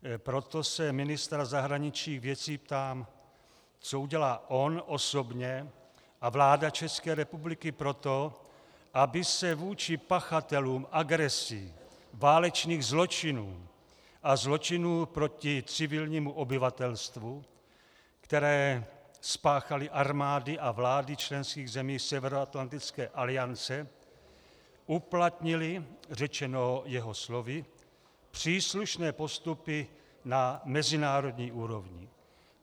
Proto se ministra zahraničních věcí ptám, co udělá on osobně a vláda České republiky pro to, aby se vůči pachatelům agresí, válečných zločinů a zločinů proti civilnímu obyvatelstvu, které spáchaly armády a vlády členských zemí Severoatlantické aliance, uplatnily - řečeno jeho slovy - příslušné postupy na mezinárodní úrovni.